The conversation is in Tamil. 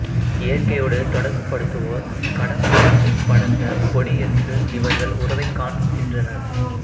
இயற்கையோடு தொடர்புபடுத்துவோர் கடம்பத்திற்படர்ந்த கொடி என்று இவர்கள் உறவைக் காண்கின்றனர்